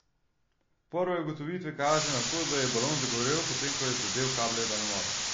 Prve ugotovitve kažejo na to, da je balon zagorel, potem ko je zadel kable daljnovoda.